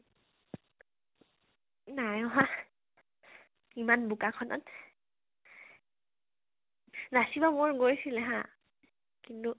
নাই অহা, এমান বোকা খন ত । নাচিব মন গৈছিলে হা । কিন্তু